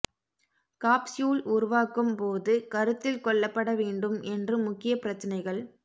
capsule உருவாக்கும் போது கருத்தில் கொள்ளப்பட வேண்டும் என்று முக்கிய பிரச்சினைகள்